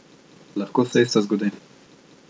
Lahko se isto zgodi.